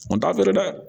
O t'a feere dɛ